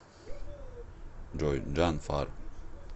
джой джан фар